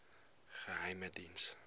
geheimediens